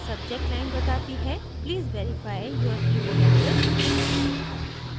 subject line बताती है please verify your email address